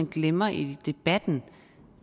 glemmer i debatten